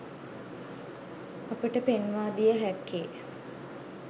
අපට පෙන්වා දිය හැක්කේ